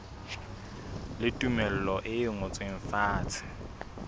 le tumello e ngotsweng fatshe